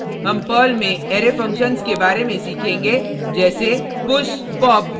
इस ट्यूटोरियल में हम पर्ल में अरै फंक्शन्स के बारे में सीखेंगे जैसे